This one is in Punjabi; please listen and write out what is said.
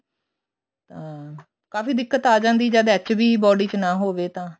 ਤਾਂ ਕਾਫੀ ਦਿੱਕਤ ਆ ਜਾਂਦੀ ਜਦ HB body ਚ ਨਾ ਹੋਵੇ ਤਾਂ